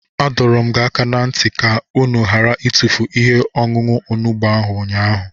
Adọrum unu aka na nti ka unu ghara itufu ihe-ọṅuṅu onugbu ahu unyaahu.